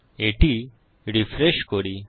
এটি রিফ্রেশ করি